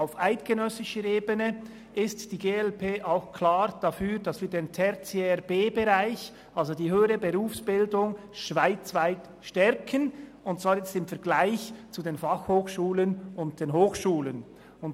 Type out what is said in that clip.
Auf eidgenössischer Ebene ist die glp auch klar dafür, den Tertiär B-Bereich, also die höhere Berufsbildung, schweizweit im Vergleich zu den Fachhochschulen und den Hochschulen zu stärken.